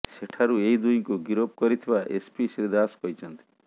ସେଠାରୁ ଏହି ଦୁହିଁଙ୍କୁ ଗିରଫ କରିଥିବା ଏସ୍ପି ଶ୍ରୀ ଦାଶ କହିଛନ୍ତି